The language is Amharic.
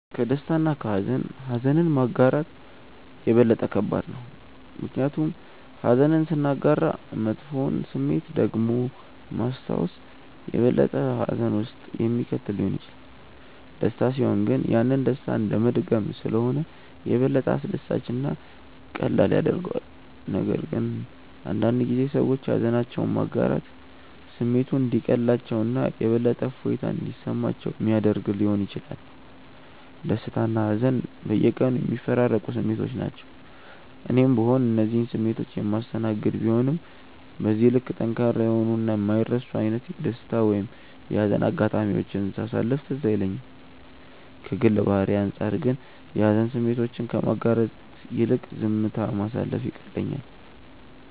ከደስታ እና ከሃዘን ኀዘንን ማጋራት የበለጠ ከባድ ነው። ምክንያቱም ኀዘንን ስናጋራ መጥፎውን ስሜት ደግሞ ማስታወስ የበለጠ ሀዘን ውስጥ የሚከት ሊሆን ይችላል። ደስታ ሲሆን ግን ያንን ደስታ እንደመድገም ስለሆነ የበለጠ አስደሳች እና ቀላል ያደርገዋል፤ ነገር ግን አንዳንድ ጊዜ ሰዎች ሃዘናቸውን ማጋራት ስሜቱ እንዲቀልላቸው እና የበለጠ እፎይታ እንዲሰማቸው ሚያደረግ ሊሆን ይችላል። ደስታና ሀዘን በየቀኑ የሚፈራረቁ ስሜቶች ናቸው። እኔም ብሆን እነዚህን ስሜቶች የማስተናገድ ቢሆንም በዚህ ልክ ጠንካራ የሆኑ እና የማይረሱ አይነት የደስታ ወይም የሀዘን አጋጣሚዎችን ሳሳለፍ ትዝ አይለኝም። ከግል ባህሪዬ አንጻር ግን የሀዘን ስሜቶችን ከማጋራት ይልቅ ዝምታ ማሳለፍ ይቀለኛል።